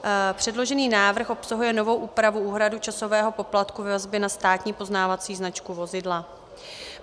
Předložený návrh obsahuje novou úpravu úhrady časového poplatku ve vazbě na státní poznávací značku vozidla.